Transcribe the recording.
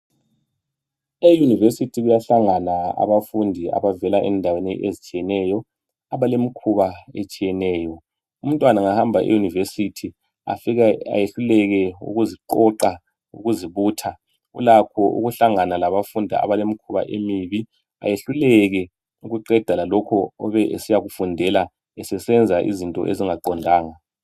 Eyunivesithi kuyahlangana abafundi abavela endaweni ezitshiyeneyo abalemikhuba etshiyeneyo. Umntwana engahamba eyunivesithi afike ehluleke ukuziqoqa ukuzibutha ulakho ukuhlangana labafundi abalemikhuba emibi ehluleke ukuqeda lokho obesiya okufundela esesenza izinto ezingaqondanga.